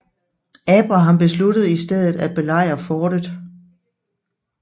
Abraham besluttede i stedet at belejre fortet